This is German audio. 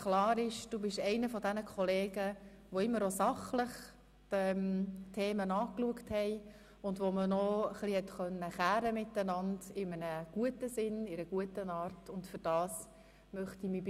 Klar ist, dass Sie einer jener Kollegen sind, welche die Themen immer sachlich angeschaut haben und mit denen man sich in einem guten Sinn hat zanken können.